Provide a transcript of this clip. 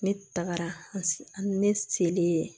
Ne tagara ne selen